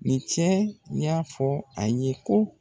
Ni cɛ in y'a fɔ a ye ko